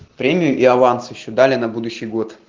премию и аванс ещё дали на будущий год